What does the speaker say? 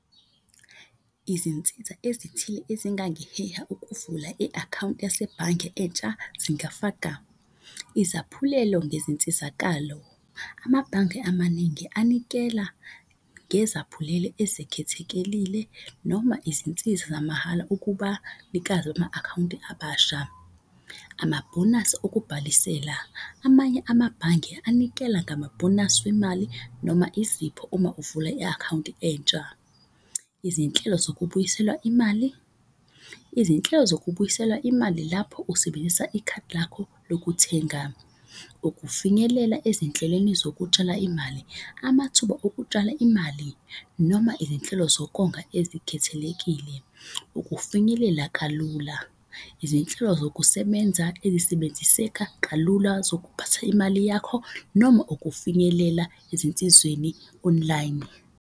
Izinsiza ezithile ezingangiheha ukuvula i-akhawunti yasebhange entsha zingafaka. Izaphulelo ngezinsizakalo, amabhange amaningi anikela ngezaphulelo ezikhethekelile noma izinsiza zamahhala ukuba nikazi akhawunti abasha. Amabhonasi okubhalisela, amanye amabhange anikela ngamabhonasi wemali noma izipho uma uvula i-akhawunti entsha. Izinhlelo zokubuyiselwa imali, izinhlelo zokubuyiselwa imali lapho usebenzisa ikhadi lakho lokuthenga. Ukufinyelela ezinhlelweni zokutshala imali, amathuba ukutshala imali noma izinhlelo zokonga ezikhethelekile. Ukufinyelela kalula, izinhlelo zokusebenza ezisebenziseka kalula zokuphatha imali yakho noma ukufinyelela ezinsizweni online.